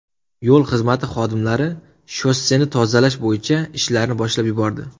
Yo‘l xizmati xodimlari shosseni tozalash bo‘yicha ishlarni boshlab yubordi.